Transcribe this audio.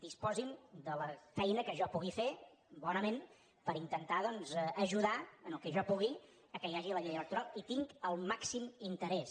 disposin de la feina que jo pugui fer bonament per intentar doncs ajudar en el que jo pugui que hi hagi la llei electoral hi tinc el màxim interès